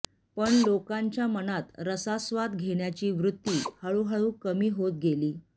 पण लोकांच्या मनात रसास्वाद घेण्याची वृत्ती हळूहळू कमी होत गेली